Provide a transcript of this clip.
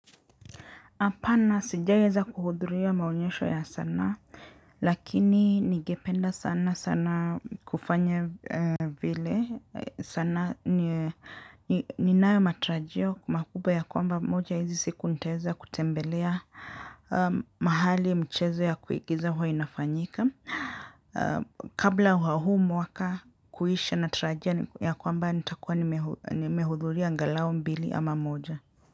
Hapana sijaieza kuhudhuria maonyesho ya sanaa, lakini ningependa sana sana kufanya vile sana ninayo matarajio makubwa ya kwamba moja hizi siku nitaeza kutembelea mahali mchezo ya kuigiza huwa inafanyika. Kabla wa huu mwaka kuisha natarajia ya kwamba nitakua nimehudhuria angalau mbili ama moja.